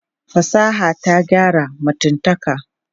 Fasaha ta gyara mutumtaka.